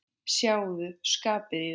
Sjáðu skapið í þeim.